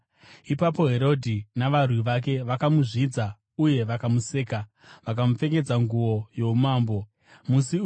Ipapo Herodhi navarwi vake vakamuzvidza uye vakamuseka. Vakamupfekedza nguo youmambo, vakamudzosera kuna Pirato.